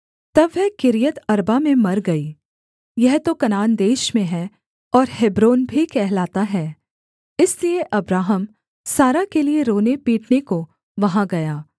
तब वह किर्यतअर्बा में मर गई यह तो कनान देश में है और हेब्रोन भी कहलाता है इसलिए अब्राहम सारा के लिये रोनेपीटने को वहाँ गया